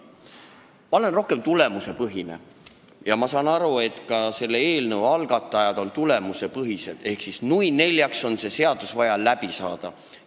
Ma olen üsna tulemusepõhine inimene ja ma saan aru, et ka selle eelnõu algatajad on tulemusepõhised: neil on vaja selle seadusega siit, nui neljaks, läbi saada.